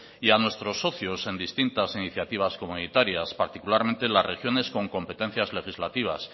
y a nuestros socios en distintas iniciativas comunitarias particularmente las regiones con competencias legislativas